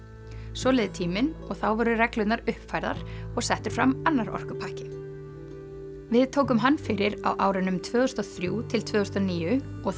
svo leið tíminn og þá voru reglurnar uppfærðar og settur fram annar orkupakki við tókum hann fyrir á árunum tvö þúsund og þrjú til tvö þúsund og níu og